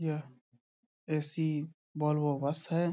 यह AC Volvo bus है ।